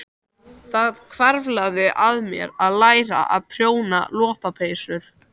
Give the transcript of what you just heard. Það hvarflaði að mér að læra að prjóna lopapeysur.